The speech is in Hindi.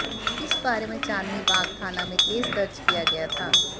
इस बारे में चांदनी बाग थाना में केस दर्ज किया गया था